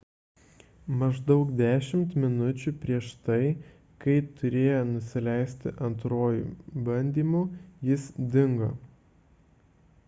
maždaug dešimt minučių prieš tai kai turėjo nusileisti antruoju bandymu jis dingo